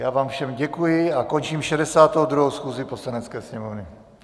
Já vám všem děkuji a končím 62. schůzi Poslanecké sněmovny.